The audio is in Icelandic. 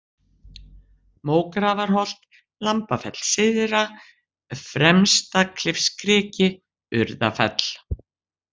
Mógrafarholt, Lambafell syðra, Fremstaklifskriki, Urðafell